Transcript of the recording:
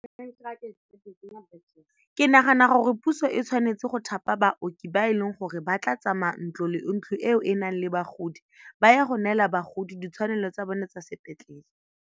Ke nagana gore puso e tshwanetse go thapa baoki ba e leng gore ba tla tsamaya ntlo le ntlo eo e e nang le bagodi ba ye go neela bagodi ditshwanelo tsa bone tsa sepetlele.